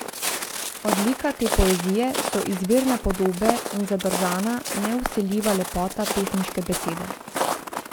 Odlika te poezije so izvirne podobe in zadržana, nevsiljiva lepota pesniške besede.